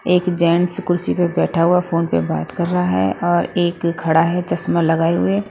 एक जेंट्स कुर्सी पर बैठा हुआ फोन पर बात कर रहा है और एक खड़ा है चश्मा लगाए हुए--